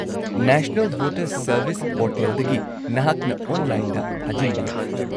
-National voters service ꯄꯣꯔꯇꯦꯜꯗꯒꯤ ꯅꯍꯥꯛꯅ ꯑꯣꯟꯂꯥꯏꯟꯗ ꯊꯥꯖꯤꯟꯕ ꯌꯥꯏ ꯫